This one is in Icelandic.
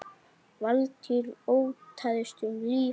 Valtýr: Óttaðist um líf hans?